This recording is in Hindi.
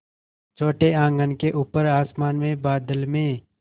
छोटे आँगन के ऊपर आसमान में बादल में